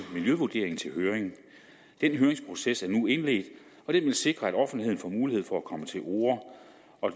miljøvurderingen til høring den høringsproces er nu indledt og den vil sikre at offentligheden får mulighed for at komme til orde